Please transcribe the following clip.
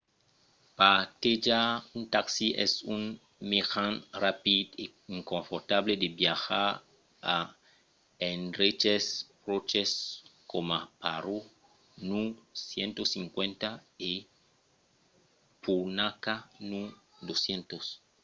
partejar un taxi es un mejan rapid e confortable de viatjar a d'endreches pròches coma paro nu 150 e punakha nu 200